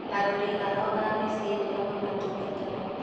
arori ao a mĩciĩ nĩo mamatungataga